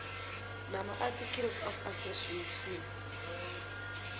namaarticles of association